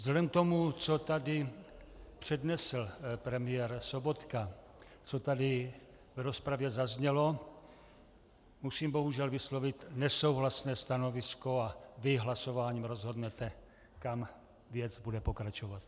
Vzhledem k tomu, co tady přednesl premiér Sobotka, co tady v rozpravě zaznělo, musím bohužel vyslovit nesouhlasné stanovisko a vy hlasováním rozhodnete, kam věc bude pokračovat.